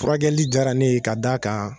Furakɛli diyara ne ye ka d d'a a kan.